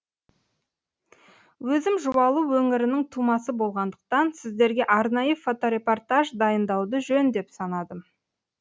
өзім жуалы өңірінің тумасы болғандықтан сіздерге арнайы фоторепортаж дайындауды жөн деп санадым